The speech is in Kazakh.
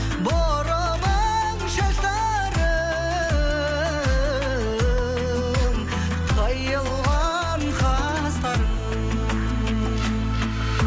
бұрымың шаштарың қиылған қастарың